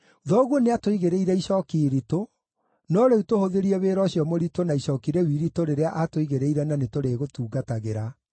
“Thoguo nĩatũigĩrĩire icooki iritũ, no rĩu tũhũthĩrie wĩra ũcio mũritũ na icooki rĩu iritũ rĩrĩa atũigĩrĩire na nĩtũrĩgũtungatagĩra.”